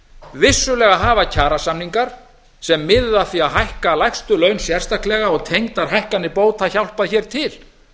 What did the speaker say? vissulega hafa kjarasamningar sem miðuðu að því að hækka lægstu laun sérstaklega og tengdar hækkanir bóta hjálpa hér til